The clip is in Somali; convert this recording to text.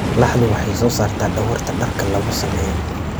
Laxdu waxay soo saartaa dhogorta dharka lagu sameeyo.